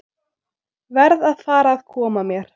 Verð að fara að koma mér.